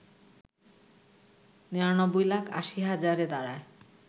৯৯ লাখ ৮০ হাজারে দাড়ায়